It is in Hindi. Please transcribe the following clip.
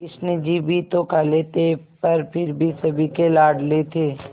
कृष्ण जी भी तो काले थे पर फिर भी सभी के लाडले थे